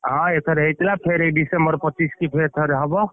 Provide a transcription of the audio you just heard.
ହଁ ଏଥର ହେଇଥିଲା, ଫେରେ ଏଇ December ପଚିଶିକି ଫେରେ ଥରେ ହବ!